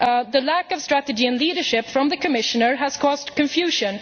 The lack of strategy and leadership from the Commissioner has caused confusion.